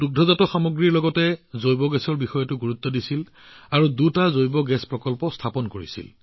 দুগ্ধ উদ্যোগৰ লগতে তেওঁ বায়গেছৰ ওপৰতো গুৰুত্ব আৰোপ কৰি দুটা বায়গেছ প্লাণ্ট স্থাপন কৰে